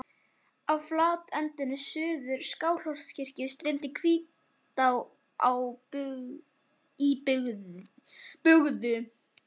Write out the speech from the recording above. Í flatlendinu suður af Skálholtskirkju streymir Hvítá í bugðu.